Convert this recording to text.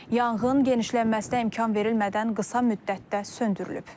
Yanğın genişlənməsinə imkan verilmədən qısa müddətdə söndürülüb.